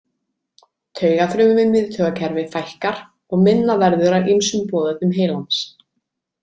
Taugafrumum í miðtaugakerfi fækkar og minna verður af ýmsum boðefnum heilans.